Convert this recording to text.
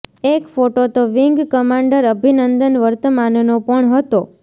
એક ફોટો તો wing commander Abhinandan વર્તમાનનો પણ હતો